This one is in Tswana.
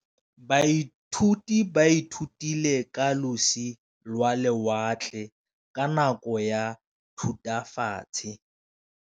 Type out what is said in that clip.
Baithuti ba ithutile ka losi lwa lewatle ka nako ya Thutafatshe.